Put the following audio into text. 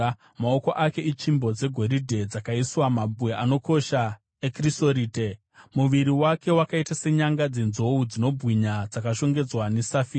Maoko ake itsvimbo dzegoridhe dzakaiswa mabwe anokosha ekrisorite. Muviri wake wakaita senyanga dzenzou dzinobwinya dzakashongedzwa nesafire.